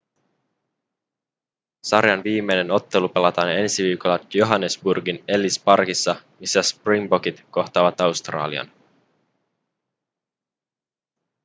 sarjan viimeinen ottelu pelataan ensi viikolla johannesburgin ellis parkissa missä springbokit kohtaavat australian